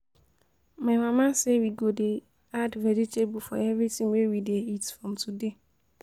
My mama say we go dey add vegetable for everything we dey eat from today